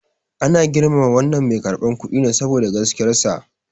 Ana girmama wannan mai karɓar kuɗin ne saboda gaskiyarsa.